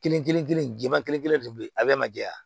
Kelen kelen kelen jɛman kelen kelen de be yen a bɛɛ ma jɛya